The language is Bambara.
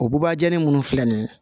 O bubajani munnu filɛ nin ye